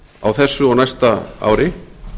á þessu og næsta ári